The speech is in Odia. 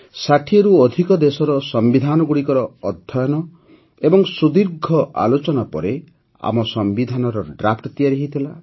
୬୦ରୁ ଅଧିକ ଦେଶର ସମ୍ବିଧାନଗୁଡ଼ିକର ଅଧ୍ୟୟନ ଏବଂ ସୁଦୀର୍ଘ ଆଲୋଚନା ପରେ ଆମ ସମ୍ବିଧାରର ଡ୍ରାଫ୍ଟ ତିଆରି ହୋଇଥିଲା